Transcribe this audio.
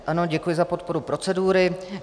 Ano, děkuji za podporu procedury.